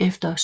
Efter